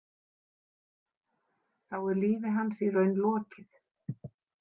Þá er lífi hans í raun lokið.